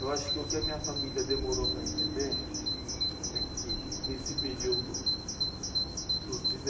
Eu acho que o que a minha família demorou para entender é que nesse período dos